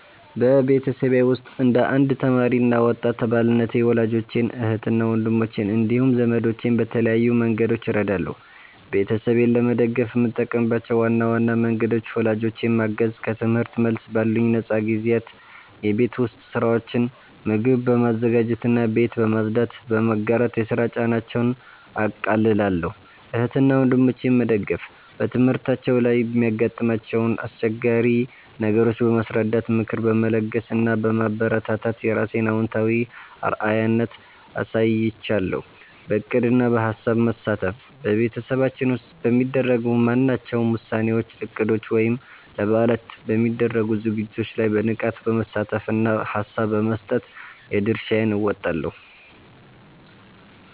በቤተሰቤ ውስጥ እንደ አንድ ተማሪ እና ወጣት አባልነቴ ወላጆቼን፣ እህትና ወንድሞቼን እንዲሁም ዘመዶቼን በተለያዩ መንገዶች እረዳለሁ። ቤተሰቤን ለመደገፍ የምጠቀምባቸው ዋና ዋና መንገዶች፦ ወላጆቼን ማገዝ፦ ከትምህርት መልስ ባሉኝ ነፃ ጊዜያት የቤት ውስጥ ሥራዎችን (ምግብ በማዘጋጀትና ቤት በማጽዳት) በመጋራት የሥራ ጫናቸውን አቃልላለሁ። እህትና ወንድሞቼን መደገፍ፦ በትምህርታቸው ላይ የሚያጋጥሟቸውን አስቸጋሪ ነገሮች በማስረዳት፣ ምክር በመለገስ እና በማበረታታት የራሴን አዎንታዊ አርአያነት አሳይሻለሁ። በዕቅድና በሐሳብ መሳተፍ፦ በቤተሰባችን ውስጥ በሚደረጉ ማናቸውም ውሳኔዎች፣ እቅዶች ወይም ለበዓላት በሚደረጉ ዝግጅቶች ላይ በንቃት በመሳተፍና ሐሳብ በመስጠት የድርሻዬን እወጣለሁ።